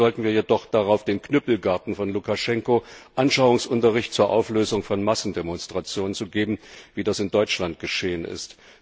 Verzichten sollten wir jedoch darauf, den Knüppelgarden von Lukaschenko Anschauungsunterricht zur Auflösung von Massendemonstrationen zu geben, wie das in Deutschland geschehen ist.